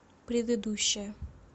предыдущая